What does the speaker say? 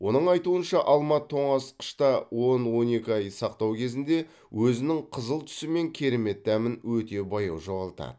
оның айтуынша алма тоңазытқышта он он екі ай сақтау кезінде өзінің қызыл түсі мен керемет дәмін өте баяу жоғалтады